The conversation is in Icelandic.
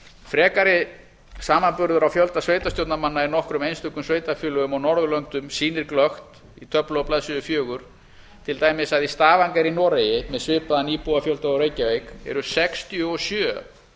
frekari samanburður á fjölda sveitarstjórnarmanna í nokkrum einstökum sveitarfélögum á norðurlöndum sýnir glöggt í töflu á blaðsíðu fjórar til dæmis að í stavanger í noregi með svipaðan íbúafjölda og reykjavík eru sextíu og sjö